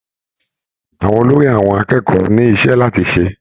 Àwọn olórí àwọn akẹ́kọ̀ọ́ ni iṣẹ́ láti ṣe.